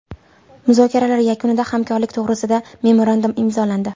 Muzokaralar yakunida hamkorlik to‘g‘risida memorandum imzolandi.